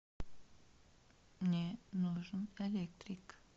мне нужен электрик